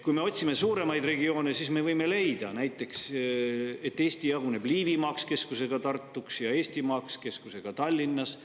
Kui me otsime suuremaid regioone, siis me võime leida näiteks, et Eesti on jagunenud Liivimaaks keskusega Tartus ja Eestimaaks keskusega Tallinnas.